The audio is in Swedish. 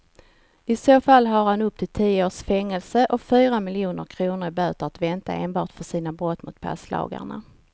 I så fall har han upp till tio års fängelse och fyra miljoner kronor i böter att vänta enbart för sina brott mot passlagarna.